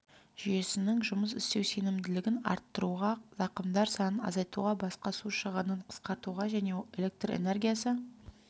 жүйесінің жұмыс істеу сенімділігін арттыруға зақымдар санын азайтуға басқа су шығынын қысқартуға және электр энергиясы